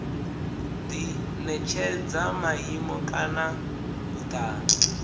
di netshedza maimo kana vhutanzi